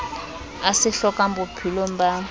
a se hlokang bophelong ba